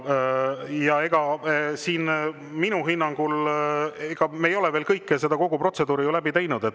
Ja minu hinnangul me ei ole ju siin veel kogu protseduuri läbi teinud.